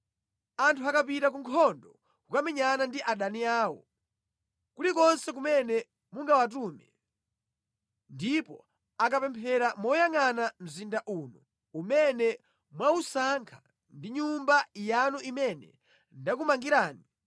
“Anthu akapita ku nkhondo kukamenyana ndi adani awo, kulikonse kumene mungawatume, ndipo akapemphera moyangʼana mzinda uno umene mwausankha ndi Nyumba yanu imene ndakumangirani,